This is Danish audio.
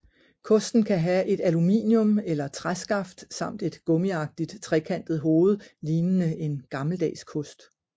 Kosten kan have et aluminium eller træskaft samt et gummiagtigt trekantet hoved lignende en gammeldags kost